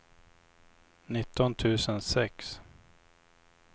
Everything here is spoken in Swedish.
nitton tusen sex